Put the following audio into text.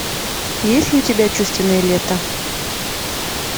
есть ли у тебя чувственное лето